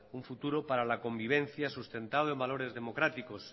un futuro para la convivencia sustentado en valores democráticos